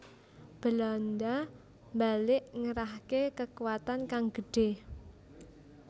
Belanda mbalik ngerahke kekuwatan kang gedhe